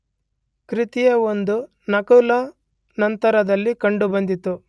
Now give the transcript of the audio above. ಕೃತಿಯ ಒಂದು ನಕಲು ನಂತರದಲ್ಲಿ ಕಂಡುಬಂದಿತ್ತು